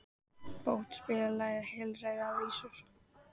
Bót, spilaðu lagið „Heilræðavísur“.